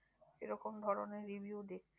এরকম ধরণের review দেখছি।